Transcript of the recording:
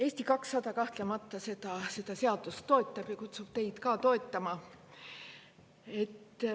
Eesti 200 kahtlemata seda seadust toetab ja kutsub teid ka toetama.